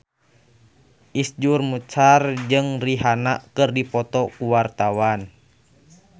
Iszur Muchtar jeung Rihanna keur dipoto ku wartawan